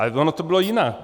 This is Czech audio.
Ale ono to bylo jinak.